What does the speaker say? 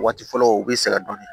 Waati fɔlɔ u bɛ sɛgɛn dɔɔnin